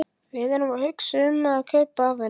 Við erum að hugsa um að kaupa af henni.